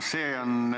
See on